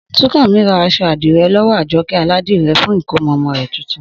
Súnkànmí ra aṣọ àdìrẹ lọ́wọ́ Àjọkẹ́ aládìrẹ fún ìkómọ ọmọ rẹ̀ tuntun